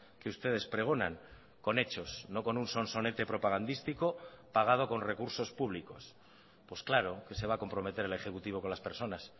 que ustedes pregonan con hechos no con un sonsonete propagandístico pagado con recursos públicos pues claro que se va a comprometer el ejecutivo con las personas